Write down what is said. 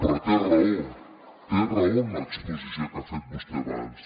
però té raó té raó en l’exposició que ha fet vostè abans